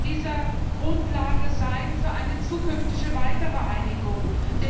dieser Grundlage für eine zukünftige weitere Einigung sein.